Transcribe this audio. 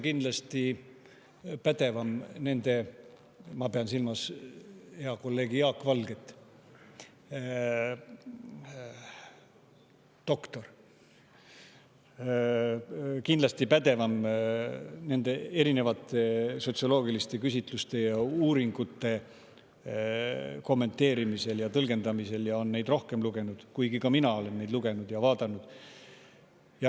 Auväärt professor – ma pean silmas head kolleegi doktor Jaak Valget – on kindlasti pädevam erinevate sotsioloogiliste küsitluste ja uuringute kommenteerimisel ja tõlgendamisel ning on neid rohkem lugenud, kuigi ka mina olen neid lugenud ja vaadanud.